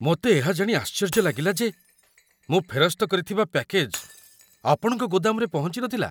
ମୋତେ ଏହା ଜାଣି ଆଶ୍ଚର୍ଯ୍ୟ ଲାଗିଲା ଯେ ମୁଁ ଫେରସ୍ତ କରିଥିବା ପ୍ୟାକେଜ ଆପଣଙ୍କ ଗୋଦାମରେ ପହଞ୍ଚି ନଥିଲା!